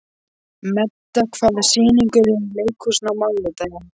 Meda, hvaða sýningar eru í leikhúsinu á mánudaginn?